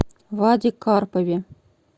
ваде карпове